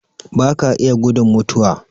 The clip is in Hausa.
Baka iya gudun mutuwa